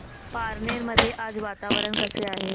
पारनेर मध्ये आज वातावरण कसे आहे